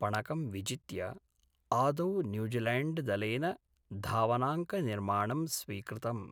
पणकं विजित्य आदौ न्यूजीलैण्ड्‌दलेन धावनाङ्कनिर्माणं स्वीकृतम्।